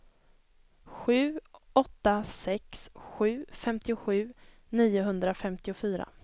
sju åtta sex sju femtiosju niohundrafemtiofyra